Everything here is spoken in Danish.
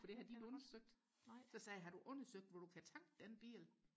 for det har de ikke undersøgt så sagde jeg har du undersøgt hvor du kan tanke den bil